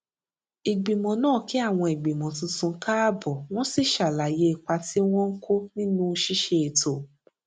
ìgbìmò náà kí àwọn ìgbìmọ tuntun káàbò wón sì ṣàlàyé ipa tí wón ń kó nínú ṣíṣe ètò